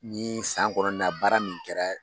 Ni san kɔnɔ na baara min kɛra.